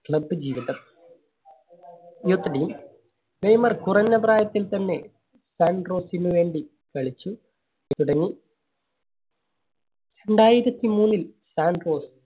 Club ജീവിതം Neymar കുറഞ്ഞ പ്രായത്തിൽ തന്നെ സാൻട്രോസിന് വേണ്ടി കളിച്ചു തുടങ്ങി. രണ്ടായിരത്തി മൂന്നിൽ സാൻട്രോസ്